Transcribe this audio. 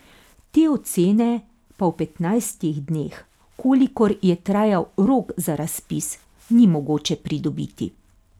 Te ocene pa v petnajstih dneh, kolikor je trajal rok za razpis, ni mogoče pridobiti.